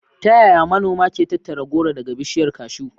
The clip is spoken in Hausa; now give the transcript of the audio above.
Ta yaya manoma ke tattara goro daga bishiyar cashew?